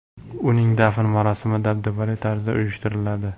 Uning dafn marosimi dabdabali tarzda uyushtiriladi.